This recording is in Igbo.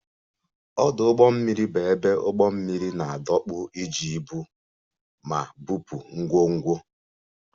Ọdụ ụgbọ mmiri bụ ebe ụgbọ mmiri na-adọkpụ iji ibu ma bupụ ngwongwo